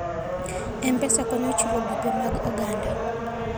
M-Pesa konyo e chulo gope mag oganda.